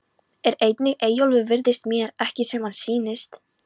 En einnig Eyjólfur virðist mér ekki sem hann sýnist.